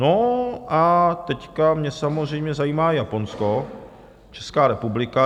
No a teď mě samozřejmě zajímá Japonsko, Česká republika.